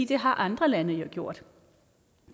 det har andre lande jo gjort